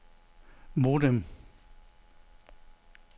modem